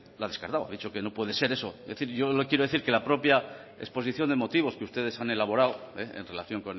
lo ha descartado ha dicho que no puede ser eso es decir yo le quiero decir que la propia exposición de motivos que ustedes han elaborado en relación